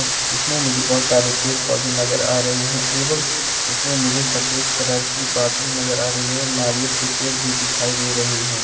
अब इसमे मुझे कई सारे पैड पौधे नज़र आ रहे है एवं इसमे मुझे सफेद कलर की बाटली नजर आ रही है और नारियल के पेड़ भी दिखाई दे रहे है।